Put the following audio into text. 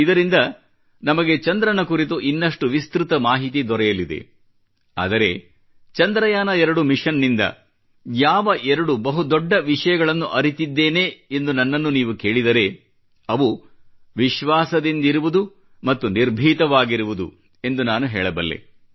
ಇದರಿಂದ ನಮಗೆ ಚಂದ್ರನ ಕುರಿತು ಇನ್ನಷ್ಟು ವಿಸ್ತ್ರತ ಮಾಹಿತಿ ದೊರೆಯಲಿದೆ ಆದರೆ ಚಂದ್ರಯಾನ 2 ಮಿಷನ್ನಿಂದ ಯಾವ ಎರಡು ಬಹುದೊಡ್ಡ ವಿಷಯಗಳನ್ನು ಅರಿತಿದ್ದೇನೆ ಎಂದು ನನ್ನನ್ನು ನೀವು ಕೇಳಿದರೆ ಅವು ವಿಶ್ವಾಸದಿಂದಿರುವುದು ಮತ್ತು ನಿರ್ಭೀತವಾಗಿರುವುದು ಎಂದು ನಾನು ಹೇಳಬಲ್ಲೆ